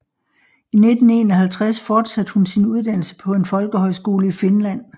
I 1951 fortsatte hun sin uddannelse på en folkehøjskole i Finland